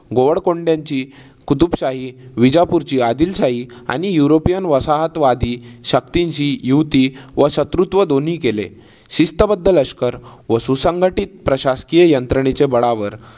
गोवळकोंड्याची कुतुबशाही, विजापूरची आदिलशाही आणि युरोपियन वसाहतवादी शक्तींशी युती व शत्रुत्व दोन्ही केले. शिस्तबद्ध लष्कर व सुसंघटीत प्रशासकीय यंत्रणेच्या बळावर